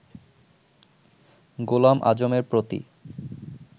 গোলাম আযমের প্রতি